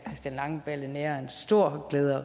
christian langballe har en stor glæde